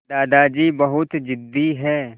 दादाजी बहुत ज़िद्दी हैं